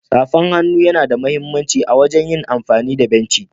Safan hannu yana da mahimmanci a wagen amfani da benci.